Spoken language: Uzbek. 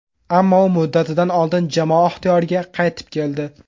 Ammo u muddatidan oldin jamoa ixtiyoriga qaytib keldi.